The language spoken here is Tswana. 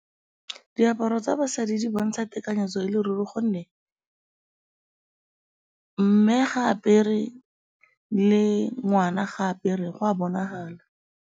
Diaparo tsa basadi di bontsha tekanyetso e le ruri gonne mme ga a apere, le ngwana ga a apere, go a bonagala.